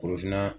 Korofina